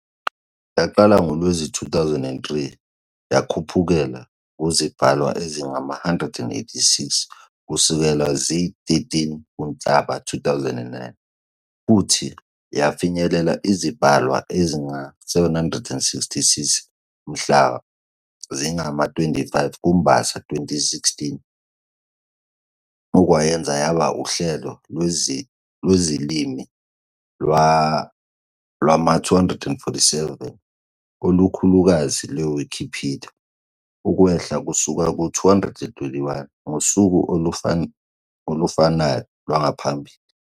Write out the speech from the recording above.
Yaqala ngoLwezi 2003, yakhuphukela kuzibhalwa ezingama-186 kusukela zili-13 kuNhlaba, 2009, futhi yafinyelela izibhalwa ezingama-766 mhla zingama-25 kuMbasa, 2016, okwayenza yaba uhlelo lwezilimi lwama-247 olukhulukazi lwe-Wikipedia, ukwehla kusuka ku-221 ngosuku olufanayo lwangaphambili.